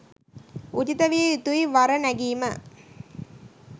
උචිත විය යුතුයි වර නැගීම.